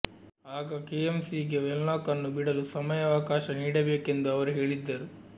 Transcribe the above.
ಆಗ K M C ಗೆ Wenlock ಅನ್ನು ಬಿಡಲು ಸಮಯಾವಕಾಶ ನೀಡಬೇಕೆಂದು ಅವರು ಹೇಳಿದ್ದರು